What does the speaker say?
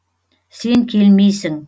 сен келмейсің